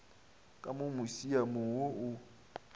ka mo musiamong wo o